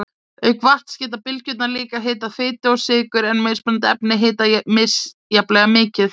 Auk vatns geta bylgjurnar líka hitað fitu og sykur en mismunandi efni hitna misjafnlega mikið.